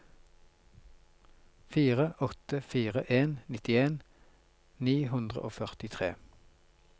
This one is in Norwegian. fire åtte fire en nittien ni hundre og førtitre